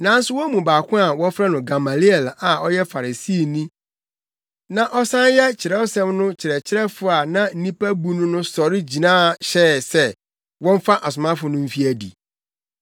Nanso wɔn mu baako a wɔfrɛ no Gamaliel a ɔyɛ Farisini na ɔsan yɛ Kyerɛwsɛm no kyerɛkyerɛfo a na nnipa bu no no sɔre gyina hyɛɛ sɛ wɔmfa asomafo no mfi adi.